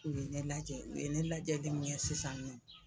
U ye ne lajɛ u ye ne lajɛli min kɛ sisan nɔ